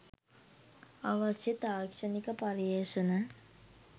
අවශ්‍ය තාක්ෂණික පර්යේෂණ